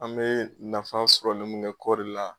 An bɛ nafa sɔrɔli min kɛ kɔɔri la.